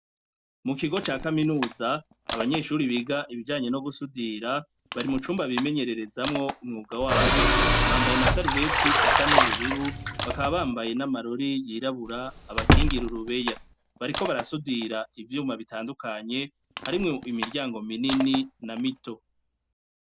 Mu kigo ca kaminuza abanyeshuri biga ivyanye no gusudira bari mu cumba bimenyererezamwo umwuga wabo bambaye amasarubeti asa n'ubururu bakaba bambaye n'amarori yirabura abakingira urubeya bariko barasudira ivyuma bitandukanye harimwo imiryango minini na mito.